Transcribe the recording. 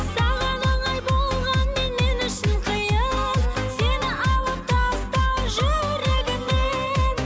саған оңай болғанмен мен үшін қиын сені алып тастау жүрегімнен